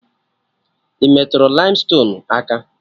Ị metụrụ laimstonuu aka?